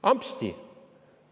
Ampsti!